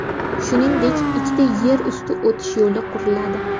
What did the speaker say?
Shuningdek, ikkita yer usti o‘tish yo‘li quriladi.